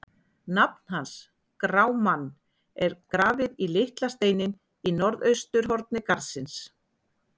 Nafn hans, Grámann, er grafið í litla steininn í norðausturhorni garðsins.